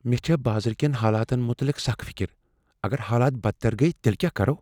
مےٚ چھےٚ بازرٕ کین حالاتن متعلق سخ فکر۔ اگر حالات بدتر گٔیہ تیٚلہ کیٛاہ کرو؟